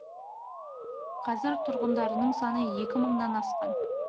қазір тұрғындарының саны екі мыңнан асқан